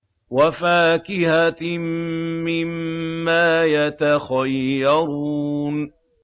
وَفَاكِهَةٍ مِّمَّا يَتَخَيَّرُونَ